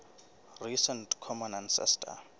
recent common ancestor